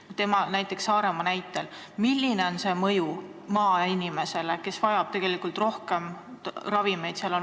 Milline on see mõju Saaremaa näitel maainimesele, kes vajab tegelikult rohkem ravimeid?